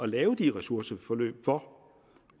lave de ressourceforløb for